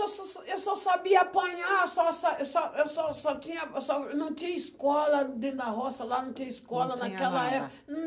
Eu só sa eu só sabia apanhar, eu só sa eu só eu só só tinha só... Não tinha escola dentro da roça lá, não tinha escola naquela época.